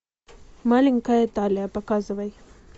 маленькая италия показывай